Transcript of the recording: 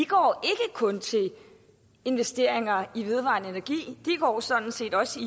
går til investeringer i vedvarende energi de går sådan set også